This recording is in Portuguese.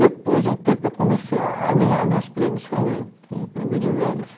Depois de um tempo eu comecei a ganhar meus prêmios também, prêmio de vendas.